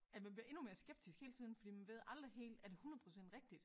At man bliver endnu mere skeptisk hele tiden fordi man ved aldrig helt er det 100 % rigtigt